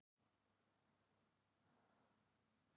Stutt í endurkomu hjá Anderson